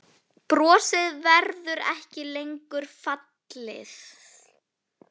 Brosið verður ekki lengur falið.